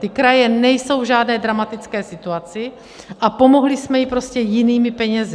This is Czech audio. Ty kraje nejsou v žádné dramatické situaci a pomohli jsme jim prostě jinými penězi.